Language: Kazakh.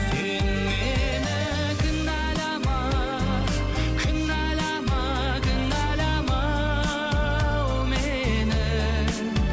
сен мені кінәлама кінәлама кінәлама ау мені